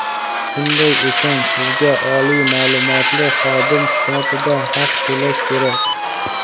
Shunday ekan sizga oliy maʼlumotli xodim sifatida haq to‘lash kerak.